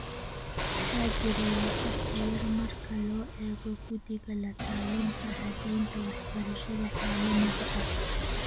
Waxaa jiray laqabsi yar marka loo eego Guddiga La-talinta Caddeynta Waxbarashada Caalamiga ah.